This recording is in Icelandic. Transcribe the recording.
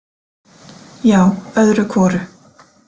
Já, öðru hvoru.